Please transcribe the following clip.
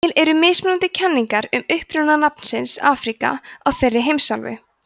til eru mismunandi kenningar um uppruna nafnsins afríka á þeirri heimsálfu